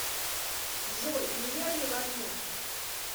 джой неверный логин